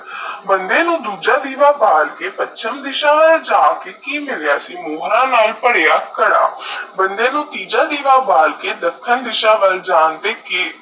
ਬੰਦੇ ਨੂੰ ਦੂਜਾ ਦੀਵਾ ਬਾਲ ਕੇ ਪਚਮ ਦੀਸਾ ਵਾਲ ਜੇਕ ਕਿ ਮਿਲਿਆ ਸੀ ਮੋਹਰਾ ਨਾਲ ਪਰਿਆ ਕਾਦਾ ਬੰਦੇ ਨੂੰ ਤੀਜਾ ਦੀਵਾ ਬਾਲ ਦਾਖਾਂ ਦੀਸਾ ਵਾਲ ਜਾਂਤੇ